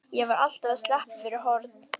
Ég var alltaf að sleppa fyrir horn.